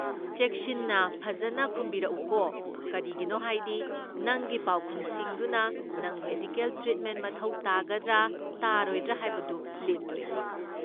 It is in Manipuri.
ꯆꯦꯛꯁꯤꯟꯅ ꯐꯖꯟꯅ ꯈꯨꯝꯕꯤꯔꯛꯎꯀꯣ, ꯀꯔꯤꯒꯤꯅꯣ ꯍꯥꯏꯗꯤ ꯅꯪꯒꯤ ꯄꯥꯎꯈꯨꯝꯁꯤꯡꯗꯨꯅ ꯅꯪ ꯃꯦꯗꯤꯀꯦꯜ ꯇ꯭ꯔꯤꯠꯃꯦꯟ ꯃꯊꯧ ꯇꯥꯒꯗ꯭ꯔꯥ ꯇꯥꯔꯣꯏꯗ꯭ꯔꯥ ꯍꯥꯏꯕꯗꯨ ꯂꯦꯞꯇꯣꯏꯅꯤ꯫